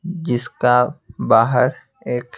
जिसका बाहर एक--